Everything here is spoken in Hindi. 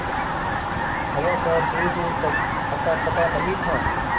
हवा का दूरदूर तक अतापता नहीं था